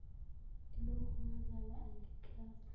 yilokhu ngazalwa angikaze